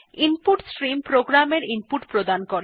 input stream প্রোগ্রামের input প্রদান করে